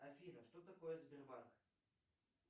афина что такое сбербанк